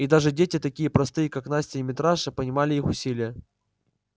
и даже дети такие простые как настя и митраша понимали их усилие